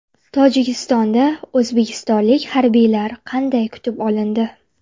Tojikistonda o‘zbekistonlik harbiylar qanday kutib olindi?.